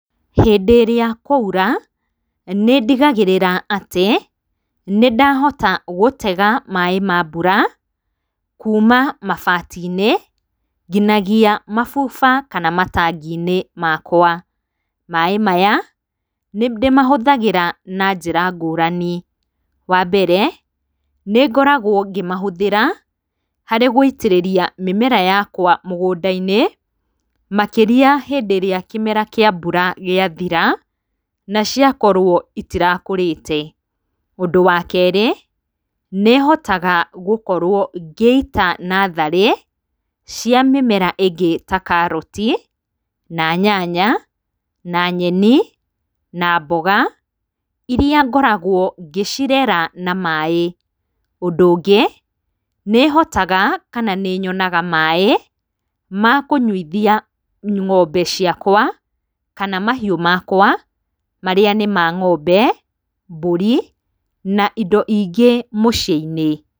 Hĩndĩ ĩrĩa kwaura nĩndigagĩrĩra atĩ nĩndahota gũtega maĩ ma mbura kuuma mabatinĩ nginyagia mabuba kana matanginĩ makwa, maĩ maya nĩndĩmahũthagĩra na njĩra ngũrani, wambere nĩngoragwa ngĩmahũthĩra harĩ gũitĩrĩria mĩmera yakwa mũgũndainĩ makĩrĩa hĩndĩ ĩrĩa kĩmera kĩa mbura gĩa thira na ciakorwo itirakũrĩte, ũndũ wa kerĩ nĩhotaga ngĩkorwo ngĩita natharĩ cia mĩmera ĩngĩ ta karoti, na nyanya, na nyeni na mboga, iria ngoragwo ngĩcirera na maĩ, ũndũ ũngĩ nĩhotaga kana nĩnyonaga maĩ makũnyuithia ng'ombe ciakwa kana mahiũ makwa marĩa nĩ ma ng'ombe, mbũrĩ na indo ingĩ mũciinĩ.